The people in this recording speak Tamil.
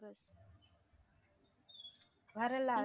வரலா~